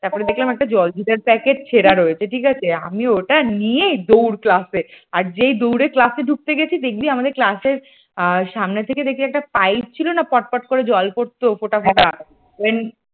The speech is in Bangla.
তারপর দেখলাম একটা জল জিরার প্যাকেট ছেঁড়া রয়েছে ঠিক আছে আমি ওটা নিয়েই দৌড় class । আর যেই দৌড়ে class ঢুকতে গেছি দেখবি আমাদের class র সামনের দিকে দেখবে একটা পাইপ ছিল না পটপট করে জল পড়তো ফোঁটা ফোঁটা